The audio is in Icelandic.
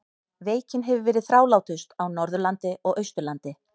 Veikin hefur verið þrálátust á Norðurlandi og Austurlandi.